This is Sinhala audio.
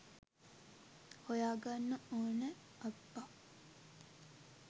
හොයා ගන්න ඕන අප්පා.